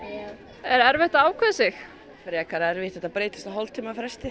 er erfitt að ákveða sig frekar erfitt þetta breytist á hálftíma fresti